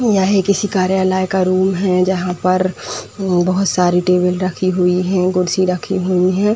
यह किसी कार्यालय का रूम है जहां पर म्म बहोत सारी टेबल रखी हुई हैं कुर्सी रखी हुई हैं।